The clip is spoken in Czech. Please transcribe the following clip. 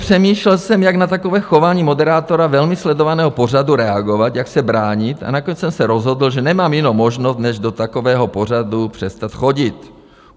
Přemýšlel jsem, jak na takové chování moderátora velmi sledovaného pořadu reagovat, jak se bránit, a nakonec jsem se rozhodl, že nemám jinou možnost než do takového pořadu přestat chodit.